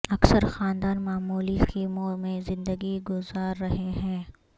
اکثر خاندان معمولی خیموں میں زندگی گزار رہے ہیں